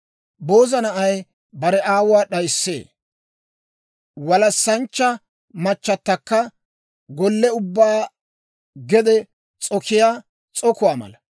Booza na'ay bare aawuwaa d'ayissee; walassanchcha machchatakka gollii ubba gede s'okiyaa s'okuwaa mala.